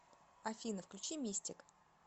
афина включи мистик